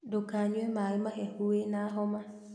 Ndũkanyue maĩ mahehu wĩna homa